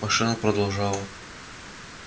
машина продолжала